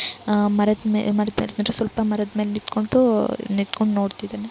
ಮರದ ಮೇಲೆ ನಿಂತ್ಕೊಂಡು ನೋಡ್ತಾ ಇದಾನೆ.